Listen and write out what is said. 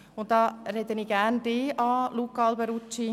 Und dazu fällt mir etwas zu Ihrem Votum ein, Luca Alberucci: